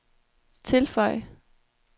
tilføj